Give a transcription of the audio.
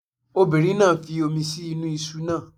Obìnrin náà fi omi sí inú iṣu náà.